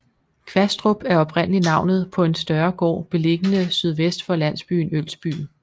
Kvastrup er oprindelig navnet på en større gård beliggende sydvest for landsbyen Ølsby